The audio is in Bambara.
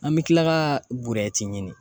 An mi kila ka ɲini